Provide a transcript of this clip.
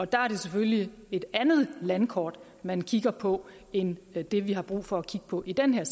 der er det selvfølgelig et andet landkort man kigger på end det vi har brug for at kigge på i den